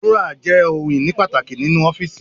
Dúrọ́à jẹ́ ohun-ìní pàtàkì nínú ọ́fíísì.